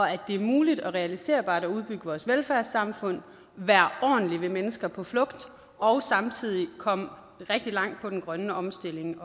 at det er muligt og realiserbart at udbygge vores velfærdssamfund være ordentlige ved mennesker på flugt og samtidig komme rigtig langt med den grønne omstilling